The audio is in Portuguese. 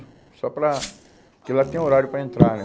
Só para... Porque lá tem horário para entrar, né?